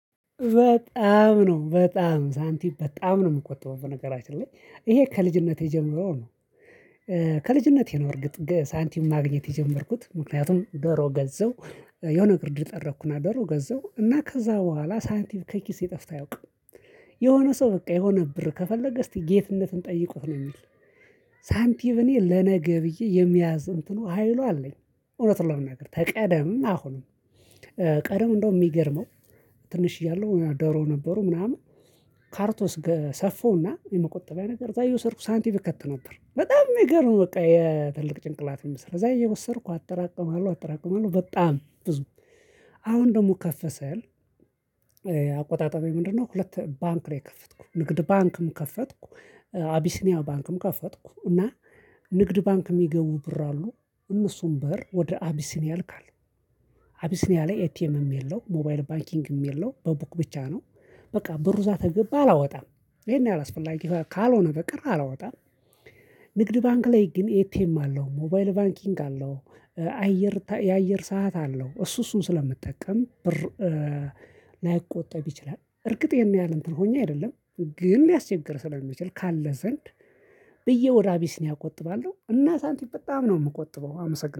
በጣም ነው በጣም ሳንቲም በጣም ነው የምቆጥበው በነገራችን ላይ ይሄ ከልጅነቴ ጀምሮ ነው። ከልጅነቴ ነው እርግጥ ሳንቲም ማግኘት የጀመርኩት ምክንያቱም ዶሮ ገዛው የሆነ ግርድ ጠረኩና ዶሮ ገዛው እና ከዛ በኋላ ሳይንቲም ከኪስ ጠፍቶ አያውቅም። የሆነ ሰው በቃ የሆነ ብር ከፈለገ እስቲ ጌትነትን ጠይቁት ነው የሚል። ሳንቲም እኔ ለነገ ብዬ የመያዝ እንትኑ ሀይሉ አለኝ እውነት ነው ለመናገር ተቀደም አሁንም። ቀደም እንደው የሚገርመው። ትንሽ እያለው ዶሮ ነበሩ ምናምን ካርቶስ ሰፋውና የመቆጠቢያ ነገር እዛ እየወሰድኩ ሳንቲም እከት ነበር። በጣም የሚገርም በቃ የትልቅ ጭንቅላት የሚሰራ እየወሰድኩ አጠራቅመዋለሁ አጠራቅመዋለሁ በጣም ብዙ። አሁን ደግሞ ከፍስል አቆጣጠቤ ምንድነው? ሁለት ባንክ ነው ከፈትኩ ንግድ ባንክም ከፈትኩ። አቢሲኒያ ባንክም ከፈትኩ እና ንግድ ባንክ የሚገቡ ብር አሉ እነሱም ብር ወደ አቢሲኒያ ልካለሁ። አቢሲኒያ ላይ ኤቲኤምም የለው ሞባይል ባንኪንግም የለው በቡክ ብቻ ነው። በቃ ብሩ ዛት ተገባ አላወጣም ይሄን ያላስፈላጊ ካልሆነ በቀር አላወጣም። ንግድ ባንክ ላይ ግን ኤቲኤም አለው ሞባይል ባንኪንግ አለው። አየር የአየር ሰዓት አለው እሱ እሱን ስለምጠቀም ብር። ላይቆጠብ ይችላል እርግጥ ይሄን ያህል እንትን ሆኜ አይደለም። ግን ሊያስቸግር ስለሚችል ካለ ዘንድ። ብዬ ወዳአቢሲኒያ ነው አቆጥባለሁ እና ሳንቲም በጣም ነው የምቆጥበው። አመሰግናለሁ